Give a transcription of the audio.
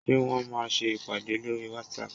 Ṣé Wọ́n máa ṣe ìpàdé lórí whatsapp?